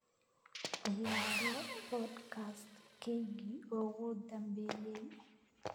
ciyaaro podcast-keygii ugu dambeeyay